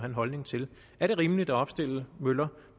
en holdning til er det rimeligt at opstille møller